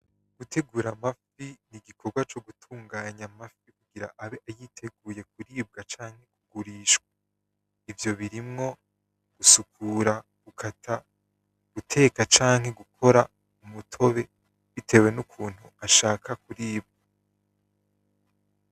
Gutegura amafi, n'igikorwa cogutunganya amafi kugira ayiteguye kuribwa canke kugurishwa, ivyo birimwo gusukura, gukata, guteka canke gukora umutobe bitewe n'ukuntu ashaka kuribwa.